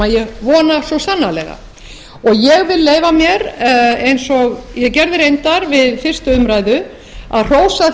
ég vona svo sannarlega og ég vil leyfa mér eins og ég gerði reyndar við fyrstu umræðu að hrósa